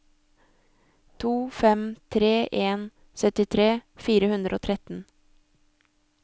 to fem tre en syttitre fire hundre og tretten